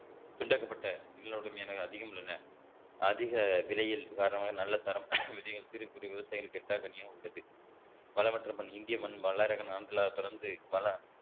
திண்டகப்பட்ட நிலவடும் அதிகம் உள்ளன அதிக விலையில் காரணமாக நல்ல தரமான விதைகள் சிறு குறு விவசாயிகளுக்கு எட்டக்கனியாக உள்ளது பலமற்ற மண் இந்திய மண் பிறந்து